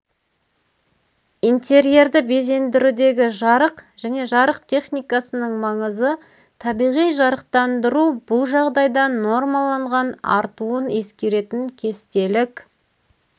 интерьерді безендірудегі жарық және жарық техникасының маңызы табиғи жарықтандыру бұл жағдайда нормаланған артуын ескеретін кестелік